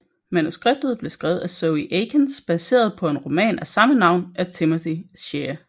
Manuskriptet blev skrevet af Zoë Akins baseret på en roman af samme navn af Timothy Shea